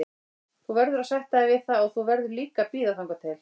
Þú verður að sætta þig við það og þú verður líka að bíða þangað til.